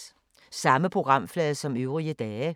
Samme programflade som øvrige dage